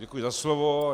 Děkuji za slovo.